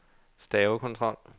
stavekontrol